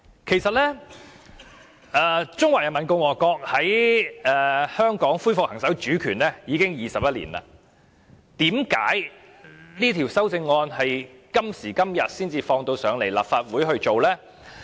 其實，中華人民共和國在香港恢復行使主權已經21年，為何這項《條例草案》到今時今日才提交立法會處理？